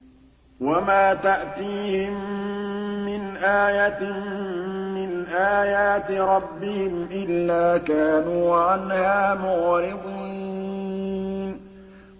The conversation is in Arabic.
وَمَا تَأْتِيهِم مِّنْ آيَةٍ مِّنْ آيَاتِ رَبِّهِمْ إِلَّا كَانُوا عَنْهَا مُعْرِضِينَ